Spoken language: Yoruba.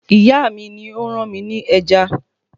Ìyá mi ni ó rán mi ní ẹja